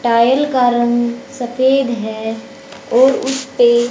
tile का रंग सफेद है और उसपे--